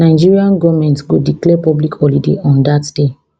nigeria goment go declare public holiday on dat day